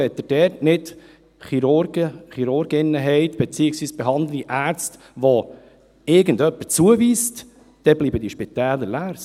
Wenn Sie dort nicht Chirurgen, Chirurginnen haben, beziehungsweise behandelnde Ärzte, zu denen Sie irgendjemand zuweist, dann bleiben diese Spitäler leer.